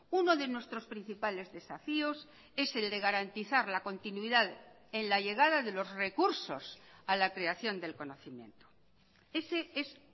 uno de nuestros principales desafíos es el de garantizar la continuidad en la llegada de los recursos a la creación del conocimiento ese es